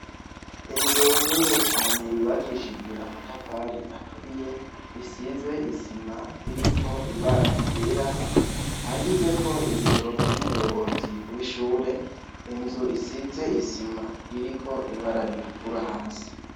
Inzu nini cane yubakishijw' amatafar'aturiye, isiz' isim' irik' ibara ryera handitsek' ibiro vy' umuyobozi wishure, inz' isiz' isim' irik' ibara ritukura hasi.